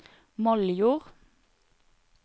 Moldjord